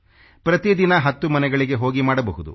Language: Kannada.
ಪ್ರತಿ ದಿನ 10 ಮನೆಗಳಿಗೆ ಹೋಗಿ ಮಾಡಬಹುದು